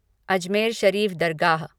Ajmer Sharif Dargah